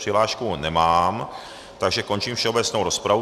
Přihlášku nemám, takže končím všeobecnou rozpravu.